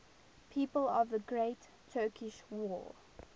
people of the great turkish war